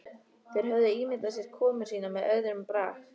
Þeir höfðu ímyndað sér komu sína með öðrum brag.